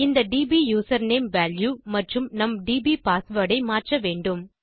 இந்த DB username value மற்றும் நம் டிபிபாஸ்வேர்ட் ஐ மாற்ற வேண்டும்